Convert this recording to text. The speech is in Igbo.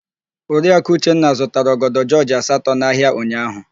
Oriaku Uchenna zụtara ọgọdọ jọọjị asatọ n'ahịa ụnyaahụ.